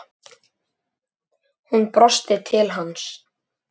Skál í botn!